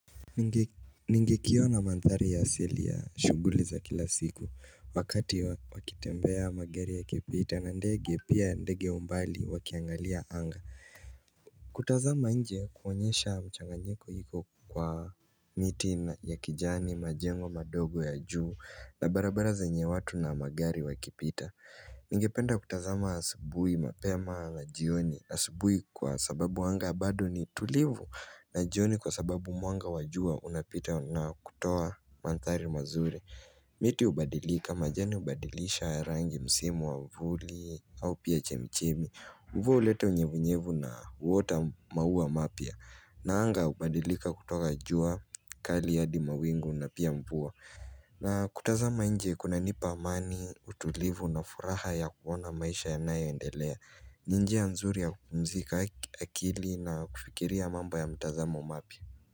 Ningekiona maanthari ya asili ya shughuli za kila siku, wakati wakitembea magari ya kipita, na ndege pia ndege umbali wakiangalia anga kutazama nje huonyesha mchanganyiko iko kwa miti ya kijani, majengo madogo ya juu na barabara zenye watu na magari wakipita Ningependa kutazama asubuhi mapema na jioni, asubuhi kwa sababu anga bado ni tulivu, na jioni kwa sababu mwanga wa jua unapita na kutoa mandhari mazuri miti hubadilika, majani hubadilisha rangi msimu wa vuli au pia chemchemi. Mvua huleta unyevunyevu na huota maua mapya, na anga hubadilika kutoka jua kali hadi mawingu na pia mvua na, kutazama nje kunanipa amani, utulivu, na furaha ya kuona maisha yanayo endelea ni njia nzuri ya kumzika akili, na kufikiria mambo ya mtazamo mapya.